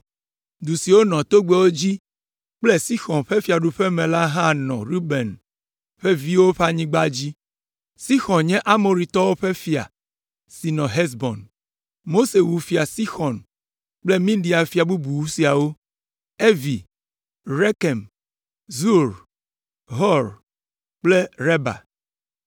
Du siwo nɔ togbɛwo dzi kple Fia Sixɔn ƒe fiaɖuƒe me la hã nɔ Ruben ƒe viwo ƒe anyigba dzi. Sixɔn nye Amoritɔwo ƒe fia si nɔ Hesbon. Mose wu Fia Sixɔn kple Midian fia bubu siawo: Evi, Rekem, Zur, Hur kple Reba.